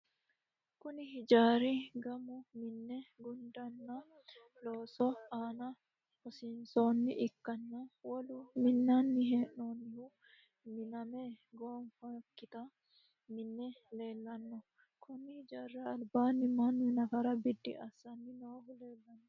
Kunni hijaari gamu mine gundeenna loosu aanna hosinoha ikanna wolu minnanni hee'noonnihu minname goofinoki minni leelano konni hijaarira albaanni Manu nafara bidi asanni noohu leelano.